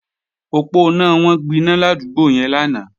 Òponá wọn gbiná ládúgbò yẹn lánàá